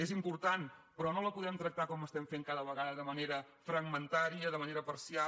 és important però no la podem tractar com estem fent cada vegada de manera fragmentària de manera parcial